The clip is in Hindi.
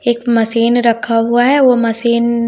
एक मशीन रखा हुआ है वो मशीन --